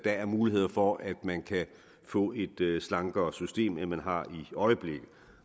er muligheder for at man kan få et slankere system end man har i øjeblikket